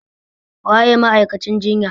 Waye ma'aikacin jinya?